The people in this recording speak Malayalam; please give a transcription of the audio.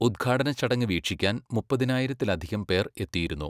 ഉദ്ഘാടനച്ചടങ്ങ് വീക്ഷിക്കാൻ മുപ്പതിനായിരത്തിലധികം പേർ എത്തിയിരുന്നു.